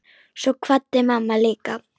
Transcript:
Svo kvaddi mamma líka.